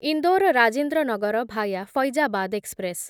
Indore Rajendra Nagar via Faizabad express